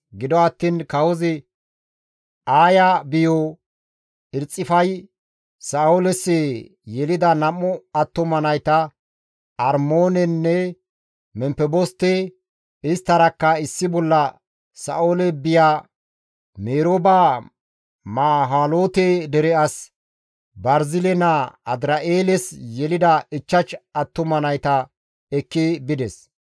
Gido attiin kawozi Aaya biyo Erxifay Sa7ooles yelida 2 attuma nayta Armoonenne Memfeboste, isttarakka issi bolla Sa7oole biya Merooba Maholaate dere as Barzile naa Adir7eeles yelida 5 attuma nayta ekki bides.